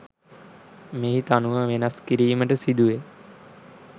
මෙහි තනුව වෙනස් කිරීමට සිදු වෙයි